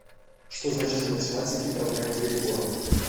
что значит в математике проблема перебора